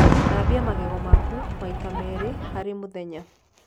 Thambia magego maku maĩ ta meri harĩ mũthenya